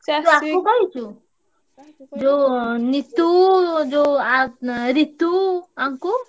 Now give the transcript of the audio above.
ଯୋଉ ନିତୁ ଆଉ ଯୋଉ ରିତୁ ଆଙ୍କୁ?